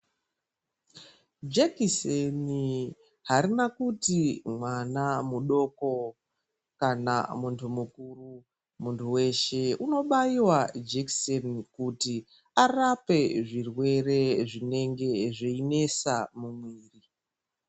Jekiseni harina kuti mwana mudoko kana munhu mukuru, munhu weshe unobayiwa jekiseni kuti arapwe zvirwere zvinenge zveinesa mumwiri.